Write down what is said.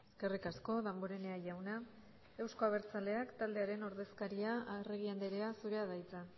eskerrik asko damborenea jauna euzko abertzaleak taldearen ordezkaria arregi andrea zurea da hitza